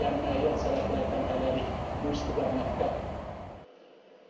Yəni müəyyən səbəblərdən hələlik bu istiqamətdə